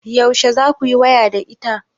Yaushe za ku yi waya da ita?